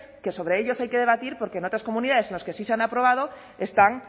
que sobre ellos hay que debatir porque en otras comunidades en las que sí se han aprobado están